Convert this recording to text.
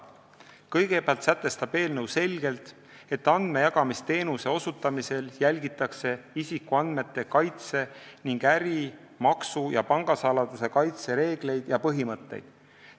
Kõigepealt sätestab eelnõu selgelt, et andmejagamisteenuse osutamisel jälgitakse isikuandmete kaitse ning äri-, maksu- ja pangasaladuse kaitse reegleid ja põhimõtteid.